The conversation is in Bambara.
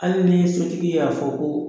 Hali ni ye sotigi y'a fɔ ko